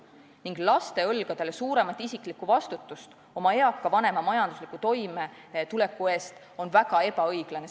Sättida laste õlgadele suurem isiklik vastutus oma eakate vanemate majandusliku toimetuleku eest on väga ebaõiglane.